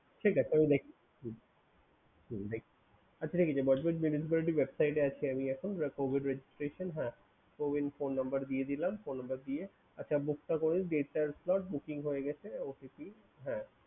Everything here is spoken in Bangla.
ঠিক আছে আমি দেখছি। হুম হুম দেখি। আচ্ছা এইযে বজবজ municipality website এ আছি আমি এখন the cowin registration হ্যাঁ। Cowin phone number দিয়ে দিলাম। দিয়ে আচ্ছা মুক্তা roll, date and slot booking হয়ে গিয়েছে OTP হ্যাঁ।